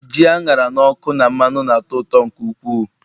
ji a ṅara n'ọkụ na mmanụ na-atọ ụtọ nke ukwuu